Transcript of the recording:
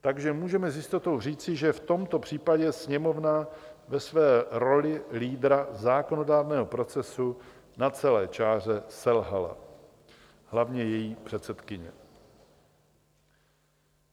Takže můžeme s jistotou říci, že v tomto případě Sněmovna ve své roli lídra zákonodárného procesu na celé čáře selhala, hlavně její předsedkyně.